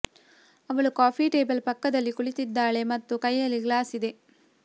ಅವಳು coffee table ಪಕ್ಕದಲ್ಲಿ ಕುಳಿತಿದ್ದಾಳೆ ಮತ್ತು ಕೈಯಲ್ಲಿ ಗ್ಲಾಸ್ ಇದೆ